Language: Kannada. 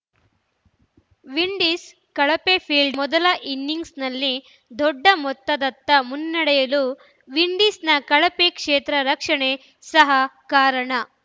ವಿಂಡೀಸ್‌ ಕಳಪೆ ಫೀಲ್ಡಿಂಗ್‌ ಭಾರತ ಮೊದಲ ಇನ್ನಿಂಗ್ಸ್‌ನಲ್ಲಿ ದೊಡ್ಡ ಮೊತ್ತದತ್ತ ಮುನ್ನಡೆಯಲು ವಿಂಡೀಸ್‌ನ ಕಳಪೆ ಕ್ಷೇತ್ರರಕ್ಷಣೆ ಸಹ ಕಾರಣ